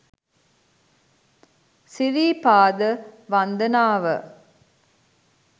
සිරිපාද වන්දනාව